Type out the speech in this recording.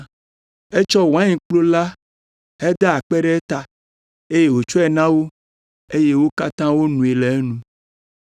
Etsɔ wainkplu la heda akpe ɖe eta, eye wòtsɔe na wo eye wo katã wonoe le enu.